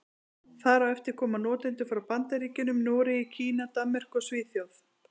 Þar á eftir koma notendur frá Bandaríkjunum, Noregi, Kína, Danmörku og Svíþjóð.